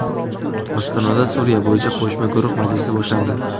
Ostonada Suriya bo‘yicha qo‘shma guruh majlisi boshlandi.